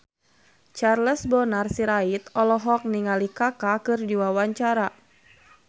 Charles Bonar Sirait olohok ningali Kaka keur diwawancara